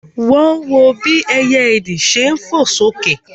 Wọ́n wọ bí ẹyẹ ìdì ṣe fò sókè